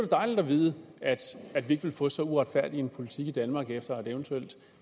dejligt at vide at vi ikke vil få så uretfærdig en politik i danmark efter et eventuelt